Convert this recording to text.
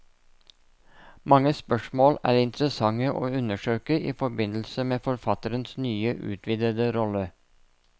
Mange spørsmål er interessante å undersøke i forbindelse med forfatterens nye, utvidede rolle.